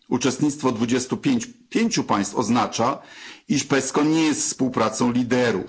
Uczestnictwo 25 państw oznacza, iż PESCO nie jest współpracą liderów.